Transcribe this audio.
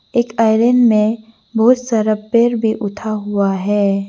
एक आयरन में बहुत सारा पेड़ भी उठा हुआ है।